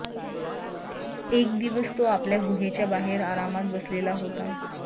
एक दिवस तो आपल्या गुहेच्या बाहेर आरामात बसलेला होता